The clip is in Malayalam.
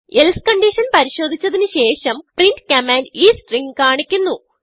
എൽസെ കൺഡിഷൻ പരിശോദിച്ചതിന് ശേഷം പ്രിന്റ് കമാൻഡ് ഈ stringകാണിക്കുന്നു